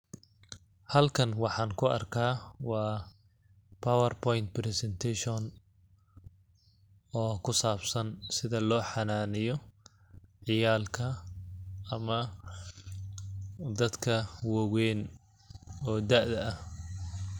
Halkan waxaan ku arkaa waa power point presentation oo ku saabsan sida loo xanaaneeyo ciyaalka ama dadka waweyn oo daada ah.